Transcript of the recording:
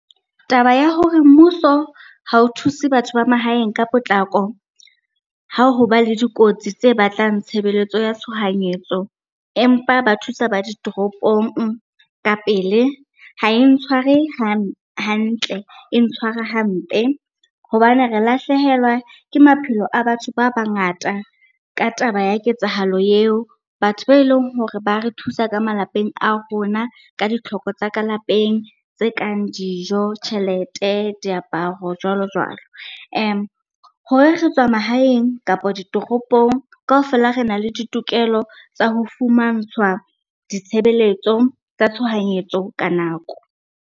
Taba ya hore mmuso ha o thuse batho ba mahaeng ka potlako ha hoba le dikotsi tse batlang tshebeletso ya tshohanyetso, empa ba thusa ba ditoropong ka pele ha e ntshware hantle, e ntshwara hampe. Hobane re lahlehelwa ke maphelo a batho ba bangata ka taba ya ketsahalo eon batho ba eleng hore ba re thusa ka malapeng a rona ka ditlhoko tsa ka lapeng tse kang dijo, tjhelete, diaparo jwalo jwalo. Hore re tswa mahaeng kapa ditoropong, kaofela rena le ditokelo tsa ho fumantshwa ditshebeletso tsa tshohanyetso ka nako.